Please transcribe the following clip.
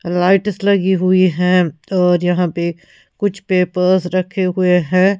Lights लगी हुई हैं और यहां पे कुछ पेपर्स रखे हुए हैं.